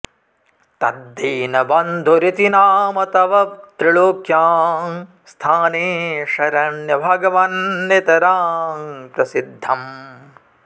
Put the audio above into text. तद् दीन बन्धुरिति नाम तव त्रिलोक्यां स्थाने शरण्य भगवन् नितरां प्रसिद्धम्